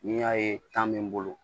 N'i y'a ye bɛ n bolo